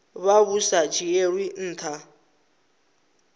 vha vhu sa dzhielwi nha